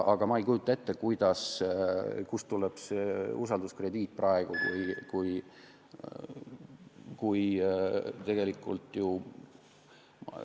Aga ma ei kujuta ette, kust tuleb see usalduskrediit praegu, kui tegelikult ju ...